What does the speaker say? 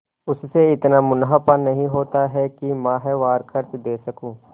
उससे इतना मुनाफा नहीं होता है कि माहवार खर्च दे सकूँ